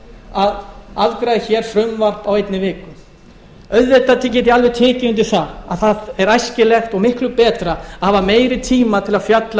að afgreiða hér frumvarp á einni viku auðvitað get ég alveg tekið undir að það er æskilegt og miklu betra að hafa meiri tíma til að fjalla